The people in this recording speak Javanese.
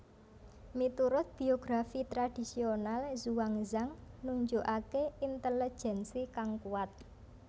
Muturut biografi tradisional Xuanzang nunjukaké intelejensi kang kuat